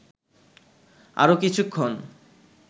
আরও কিছুক্ষণ